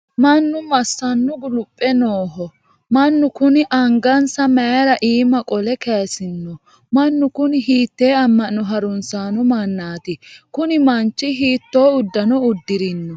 mannu massannu guluphe nooho? mannu kuni angansa mayiira iima qole kayiisino? mannu kuni hiittee amma'no harunsanno mannaati? kuni manchi hiitto uddano uddirino?